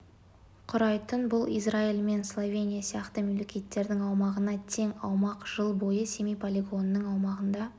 құрайтын бұл израиль мен словения сияқты мемлекеттердің аумағына тең аумақ жыл бойы семей полигонының аумағында